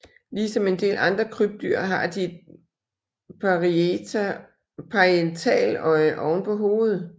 Ligesom en del andre krybdyr har de et parietaløje oven på hovedet